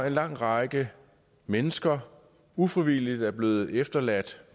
en lang række mennesker ufrivilligt er blevet efterladt